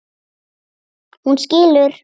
Hún skilur.